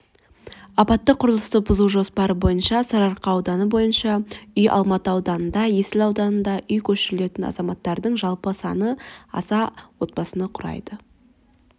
апатты құрылысты бұзу жоспары бойынша сарыарқа ауданы бойынша үй алматы ауданында есіл ауданында үй көшірілетін азаматтардың жалпы саны аса отбасыны құрайды